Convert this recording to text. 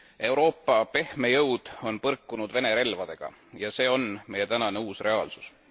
Euroopa pehme jõud on põrkunud Vene relvadega ja see on meie tänane uus reaalsus.